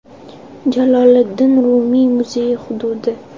Jaloliddin Rumiy muzeyi hududi.